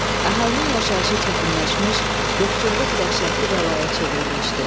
Əhalinin yaşayışı çətinləşmiş, yoxsulluq dəhşətli bəlaya çevrilmişdi.